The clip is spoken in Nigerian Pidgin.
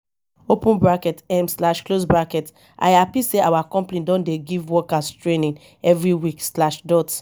open bracket um slash close bracket i hapi sey our company don dey give workers training every week slash dot